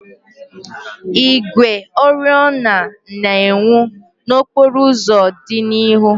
Igwe oriọna na-enwu n'okporo ụzọ dị n'ihu.